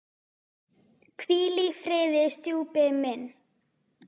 Hvíl í friði, stjúpi minn.